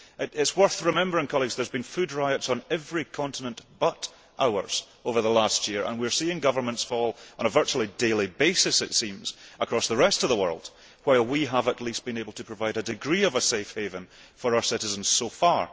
It is worth remembering there have been food riots on every continent but ours over the last year, and we are seeing governments fall on a virtually daily basis, it seems, across the rest of the world, while we have at least been able to provide a degree of a safe haven for our citizens so far.